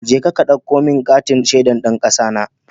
Jeka ka ɗauko min katin shaidar ɗan ƙasana!